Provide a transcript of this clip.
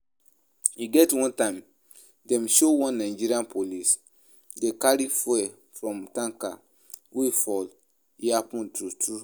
E get one time dem show one Nigerian police dey carry fuel from tanker wey fall, e happen true true?